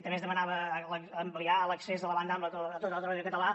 també es demanava ampliar l’accés a la banda ampla a tot el territori català